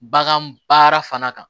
Bagan baara fana kan